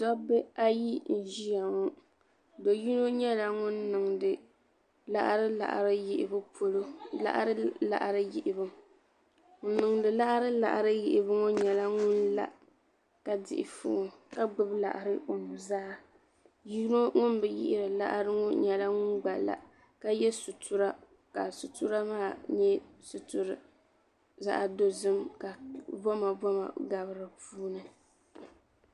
Dobba ayi n ʒia ŋɔ do'yino nyɛla ŋun niŋdi laɣari laɣari yihibu polo ŋun niŋdi laɣari laɣari yihibu ŋɔ nyɛla ŋun la ka dihi fooni ka gbibi laɣari o nuzaa yino ŋun bi yihiri laɣari ŋɔ nyɛla ŋun gba la ka ye sutura ka sutura maa nyɛ zaɣa dozim ka bomaboma gabi dipuuni.